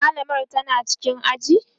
mallamar tana cikin aji?